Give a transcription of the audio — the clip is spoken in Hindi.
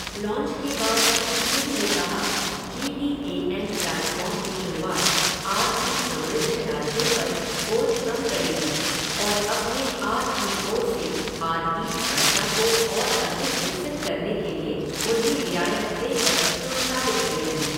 लॉन्च के बाद श्री सिंह ने कहा, G T A M platform की शुरूआत आर ई समृद्ध राज्यों पर बोझ कम करेगी और अपने आर पी ओ से आर ई क्षमता को और अधिक विकसित करने के लिए उन्हें रियायत देकर प्रोत्साहित करेगी।